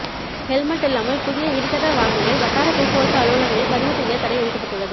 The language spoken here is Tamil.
ஹெல்மெட் இல்லாமல் புதிய இருசக்கர வாகனங்களை வட்டார போக்குவரத்து அலுவலகங்களில் பதிவு செய்ய தடை விதிக்கப்பட்டுள்ளது